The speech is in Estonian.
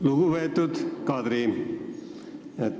Lugupeetud Kadri!